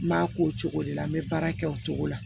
N b'a k'o cogo de la n bɛ baara kɛ o cogo la